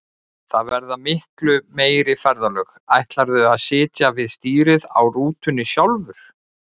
Það verða miklu meiri ferðalög, ætlarðu að sitja við stýrið á rútunni sjálfur?